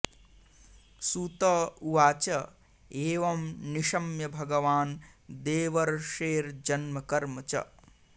सूत उवाच एवं निशम्य भगवान् देवर्षेर्जन्म कर्म च